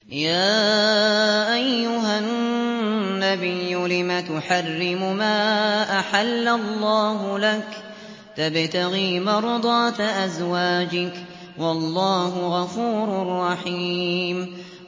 يَا أَيُّهَا النَّبِيُّ لِمَ تُحَرِّمُ مَا أَحَلَّ اللَّهُ لَكَ ۖ تَبْتَغِي مَرْضَاتَ أَزْوَاجِكَ ۚ وَاللَّهُ غَفُورٌ رَّحِيمٌ